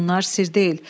Bunlar sirr deyil.